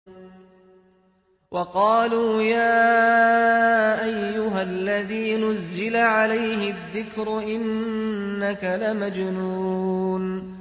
وَقَالُوا يَا أَيُّهَا الَّذِي نُزِّلَ عَلَيْهِ الذِّكْرُ إِنَّكَ لَمَجْنُونٌ